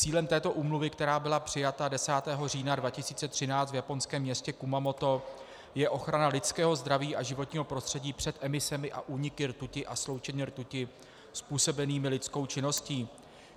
Cílem této úmluvy, která byla přijata 10. října 2013 v japonském městě Kumamoto, je ochrana lidského zdraví a životního prostředí před emisemi a úniky rtuti a sloučenin rtuti způsobenými lidskou činností.